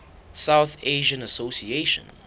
south asian association